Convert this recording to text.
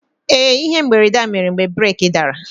Ee, ihe mberede a mere mgbe breeki dara.